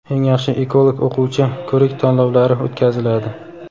"Eng yaxshi ekolog o‘quvchi" ko‘rik tanlovlari o‘tkaziladi.